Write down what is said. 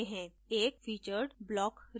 एक featured block region